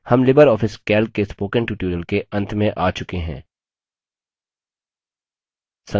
हम LibreOffice calc के spoken tutorial के अंत में आ चुके हैं